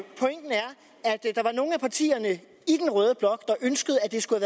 nogle af partierne i den røde blot ønskede at det skulle